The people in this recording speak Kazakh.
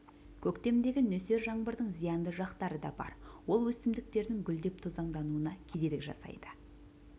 көктемдегі нөсер жаңбырдың зиянды жақтары да бар ол өсімдіктердің гүлдеп тозаңдануына кедергі жасайды